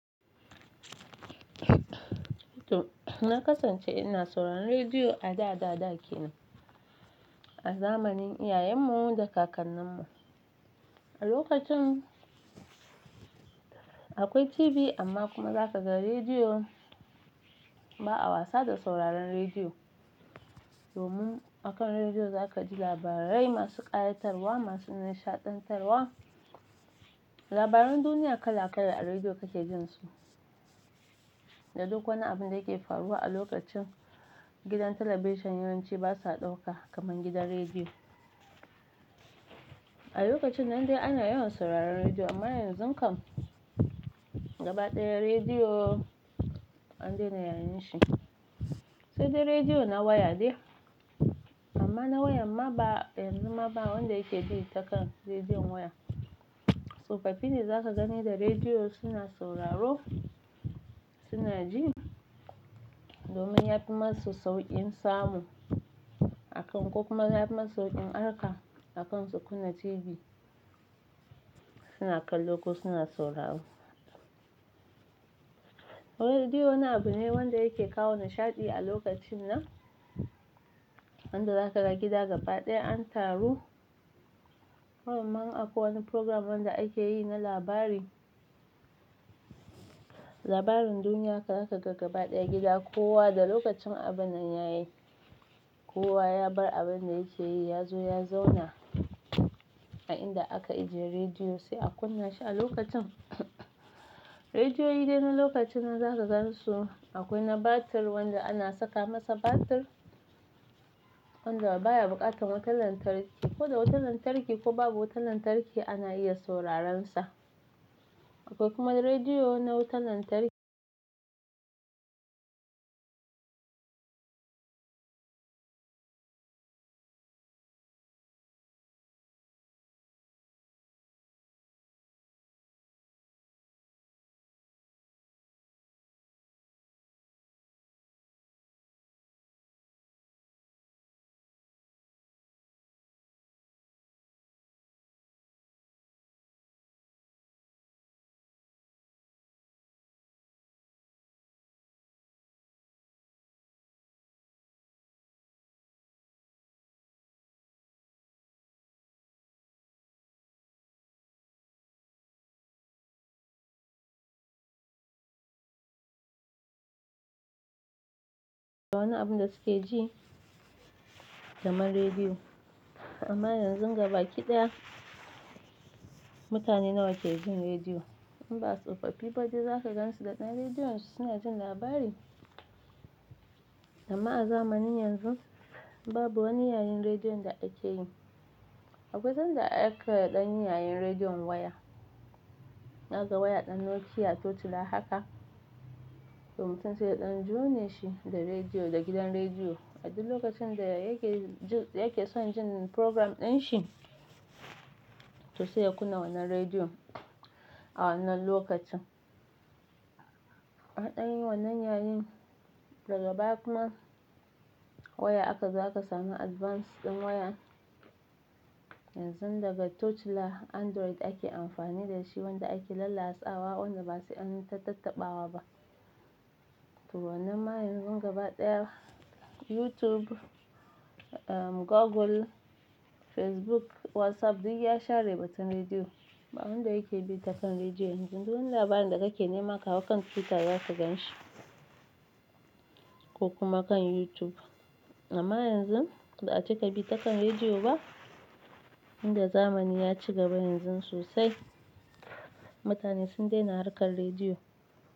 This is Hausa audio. Na kasance ina sauraron rediyo a da da dake nan, a zamanin iyayenmu da kakanninmu. A lokacin akwai TV amma kuma za ka ga rediyo ba a wasa da sauraron rediyo. Domin akan rediyo zakaji labarai masu ƙayatarwa, masu nishaɗantarwa, labarun duniya kala kala a rediyo kake jinsu. Da duk wani abin da yake faruwa a lokacin, gidan talabijin yawanci basa ɗauka kamar gidan rediyo. A lokacin nan dai ana yawan sauraron rediyo amma yanzu kam gaba ɗaya rediyo an daina yayin shi. Saidai rediyo na waya de, amma na wayanma ba yanzu ma ba wanda yake bi takan rediyon waya. Tsofaffi ne zaka gani da rediyo suna sauraro, suna ji domin yafi masu sauƙin samu akan ko kuma ya fi masu sauƙin harka akan su kunna TV. Suna kallo ko suna sauraro. Rediyo wani abu ne wanda yake kawo nishaɗi a lokacin nan, wanda zaka gida gaba ɗaya an taru. Barinma in akwai wani program wanda akeyi na labari, labarin duniya haka zaka ga gaba ɗaya gida kowa da lokacin abinnan yayi, kowa ya bar abinda yake yi yazo ya zauna a inda aka ajiye rediyo sai a kunna shi a lokacin. Rediyoyi dai na lokacin nan zaka gansu akwai na batir wanda ana saka masa batir wanda baya buƙatar wutar lantarki. Ko da wutar lantarki ko babu wutar lantarki ana iya sauraron sa. Akwai kuma rediyo na wutar lantarki. Wani abun da suke ji kaman rediyo. Amma yanzun gabaki ɗaya mutane nawa ke jin rediyo? In ba tsofaffi ba dai za ka gansu da ɗan rediyon su suna jin labari. Amma a zamanin yanzu babu wani yayin rediyon da ake yi. Akwai sanda aka ɗanyi yayin rediyon waya. Naga waya ɗan Nokia tochila haka. To mutum sai ɗan jone shi da rediyo da gidan rediyo. A duk lokacin da yake jin, yake son jin program ɗin shi to sai ya kunna wannan rediyon a wannan lokacin. An ɗan yi wannan yayin daga baya kuma waya aka zo aka samu advance ɗin waya. Yanzun daga tochila Android ake amfani da shi wanda ake lallasawa wanda ba sai anyi ta tattaɓawa ba. To wannan ma yanzun gaba ɗaya YouTube, um, Google, Facebook, WhatsApp duk ya share batun rediyo. Ba wanda yake bi ta kan rediyo yanzu. Dun wani labarin da kake nema ka hau kan Twitter za ka gan shi ko kuma kan YouTube. Amma yanzun ba a cika bi ta kan rediyo ba. Inda zamani ya ci gaba yanzun sosai, mutane sun daina harkar rediyo.